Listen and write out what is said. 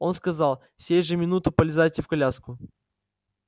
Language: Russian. он сказал сей же минуту полезайте в коляску